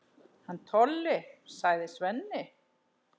Hann Tolli, sagði Svenni.